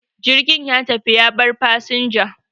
jirgin ya tafi ya bar fasinja